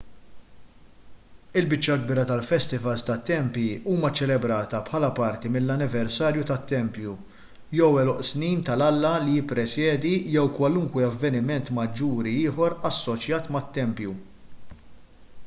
il-biċċa l-kbira tal-festivals tat-tempji huma ċċelebrati bħala parti mill-anniversarju tat-tempju jew għeluq snin tal-alla li jippresjedi jew kwalunkwe avveniment maġġuri ieħor assoċjat mat-tempju